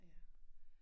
Ja